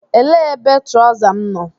Elee ebe trọza m nọ?